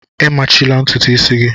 A machila ntutu isi gị!